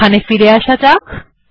এখানে ফিরে আসা যাক